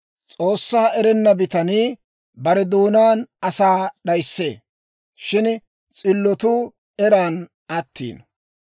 S'oossaa erenna bitanii bare doonaan asaa d'ayissee; shin s'illotuu eran attiino.